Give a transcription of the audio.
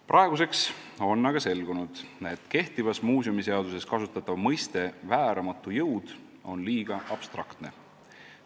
Praeguseks on aga selgunud, et kehtivas muuseumiseaduses kasutatav mõiste "vääramatu jõud" on liiga abstraktne.